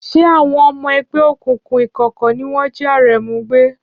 Ṣé àwọn ọmọ ẹgbẹ́ òkùnkùn ìkọ̀kọ̀ ni wọ́n jí Aremu gbé?